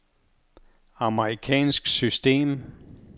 amerikansk system